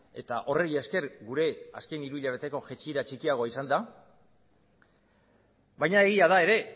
eta horri esker gure azken hiru hilabeteko jaitsiera txikiagoa izan da baina egia da ere